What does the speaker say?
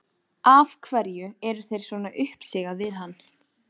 Af hverju er þér svona uppsigað við hann?